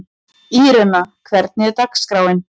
Írena, hvernig er dagskráin?